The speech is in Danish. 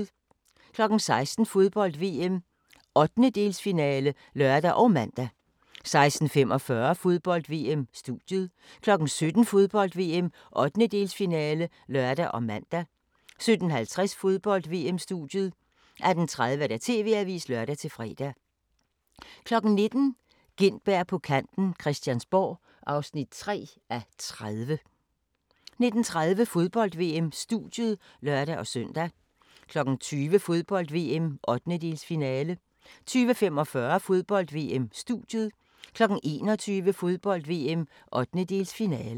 16:00: Fodbold: VM - 1/8-finale (lør og man) 16:45: Fodbold: VM -Studiet 17:00: Fodbold: VM - 1/8-finale (lør og man) 17:50: Fodbold: VM - Studiet 18:30: TV-avisen (lør-fre) 19:00: Gintberg på kanten - Christiansborg (3:30) 19:30: Fodbold: VM - Studiet (lør-søn) 20:00: Fodbold: VM - 1/8-finale 20:45: Fodbold: VM -Studiet 21:00: Fodbold: VM - 1/8-finale